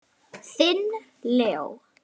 Þinn Leó.